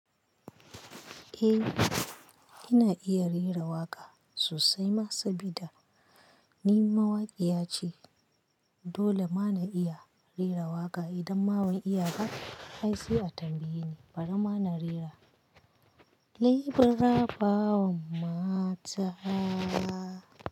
Eh, ina iya rera waƙa sosai. Sabida ni mawaƙiya ce, dole ma na iya rera waƙa. Idan ma ban iya ba, ai se a tambaye ni, bari ma na rera "nai bara kan mata".